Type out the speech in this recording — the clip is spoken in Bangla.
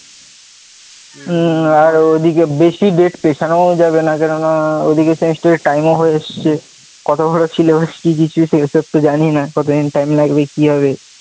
হ্যাঁ ওদিকে date বেশি পেছানো ও যাবে না কেননা ও দিকে test এর time ও হয়ে এসছে, এসব তো জানিনা কত দিন time লাগবে কি হবে,